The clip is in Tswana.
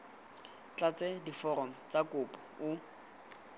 tlatse diforomo tsa kopo o